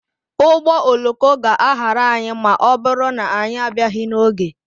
Ụgbọ oloko ga-ahara anyị ma ọ bụrụ na anyị abịaghị n'oge.